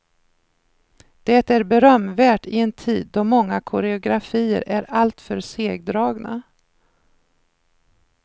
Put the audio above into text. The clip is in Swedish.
Det är berömvärt i en tid då många koreografier är alltför segdragna.